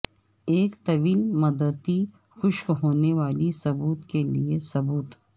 ایک طویل مدتی خشک ہونے والی ثبوت کے لئے ثبوت